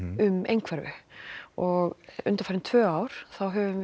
um einhverfu og undanfarin tvö ár höfum við